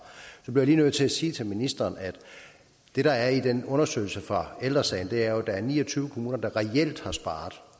så bliver jeg lige nødt til at sige til ministeren at det der er i den undersøgelse fra ældre sagen er at der jo er ni og tyve kommuner der reelt har sparet